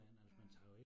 Ja